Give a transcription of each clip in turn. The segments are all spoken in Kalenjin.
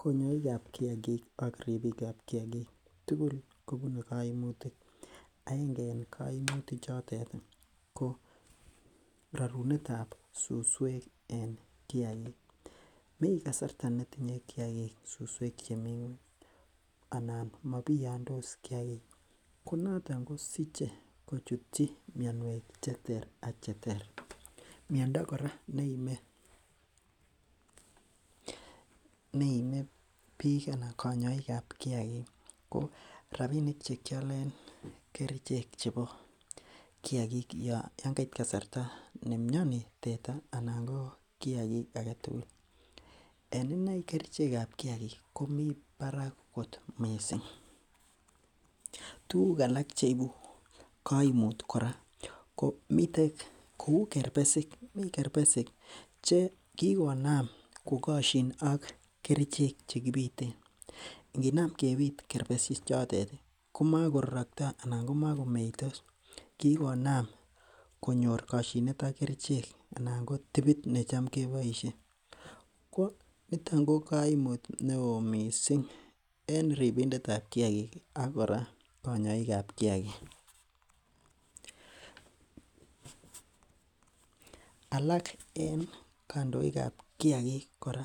Konyoik ab kiagik ak ribiik ab kiagik tugul kobune koimutik agenge en koimutik chutet ih ko rorunetab suswek en kiagik, mii kasarta netinye kiagik suswek chemii ng'weny anan mobiyondos kiagik konoton kosiche kochutyi mionwek cheter ak cheter miondo kora neime biik anan konyoik ab kiagik ko rapinik chekiolen kerichek chebo kiagik yon kait kasarta ne mioni teta anan ko kiagik aketugul en inei kerichek ab kiagik komii barak kot missing, tuguk alak cheibu koimut kora ko miten kou kerpesik mii kerpesik che kikonam kokosyin ak kerichek chekibiten nginam kebit kerbesik chotet ih komakororoktoo anan ko makomeitos kikonam konyor kosyinet ak kerichek anan ko tibit necham keboisien ko niton ko koimut neoo missing en ribindet ab kiagik ak kora konyoik ab kiagik . alak en kandoik ab kiagik kora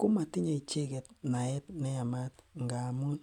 komotinye icheket naet neyamat ngamun